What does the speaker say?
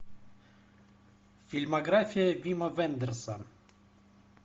фильмография вима вендерса